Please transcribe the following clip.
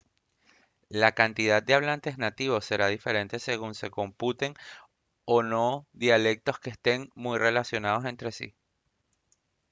la cantidad de hablantes nativos será diferente según se computen o no dialectos que estén muy relacionados entre sí